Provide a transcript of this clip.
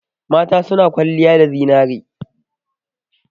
Mata suna kwalliya da zinare.